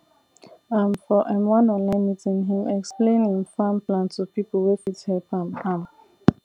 um for um one online meeting him explain him farm plan to people wey fit help am am